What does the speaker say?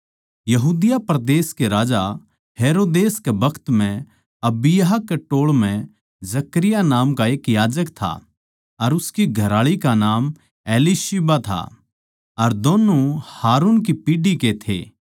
यहूदिया परदेस कै राजा हेरोदेस कै बखत म्ह अबिय्याह कै टोळ म्ह जकरयाह नाम का एक याजक था अर उसकी घरआळी का नाम एलीशिबा था अर दोन्नु हारुन की पीढ़ी के थे